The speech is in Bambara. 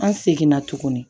An seginna tuguni